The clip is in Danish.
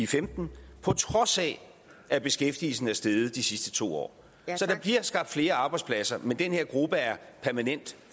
femten på trods af at beskæftigelsen er steget i de sidste to år så der bliver skabt flere arbejdspladser men den her gruppe er permanent